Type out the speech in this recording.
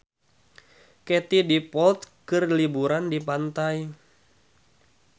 Katie Dippold keur liburan di pantai